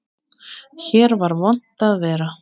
Hér var vont að vera.